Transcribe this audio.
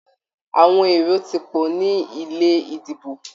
Àwọn èrò tí pọ̀ ní ilé ìdìbò.